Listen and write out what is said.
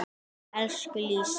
Elsku Lísa.